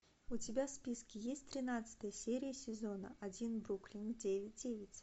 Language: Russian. у тебя в списке есть тринадцатая серия сезона один бруклин девять девять